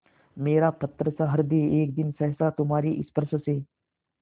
मेरा पत्थरसा हृदय एक दिन सहसा तुम्हारे स्पर्श से